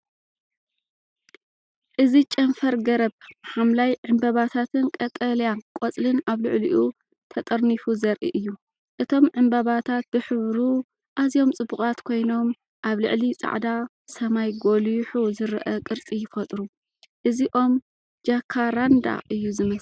እዚ ጨንፈር ገረብ፡ ሐምላይ ዕምባባታትን ቀጠልያ ቆጽልን ኣብ ልዕሊኡ ተጠርኒፉ ዘርኢ እዩ። እቶም ዕምባባታት ብሕብሩ ኣዝዮም ጽቡቓት ኮይኖም ኣብ ልዕሊ ጻዕዳ ሰማይ ጐሊሑ ዝረአ ቅርጺ ይፈጥሩ። እዚ ኦም ጃካራንዳ እዩ ዝመስል።